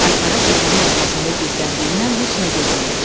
Aypara təpənin arxasında gizləndiyindən heç nə görünmürdü.